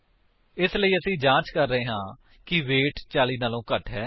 ਇਸ ਲਈ ਅਸੀ ਜਾਂਚ ਕਰ ਰਹੇ ਹਾਂ ਕਿ ਵੇਟ 40 ਤੋਂ ਘੱਟ ਹੈ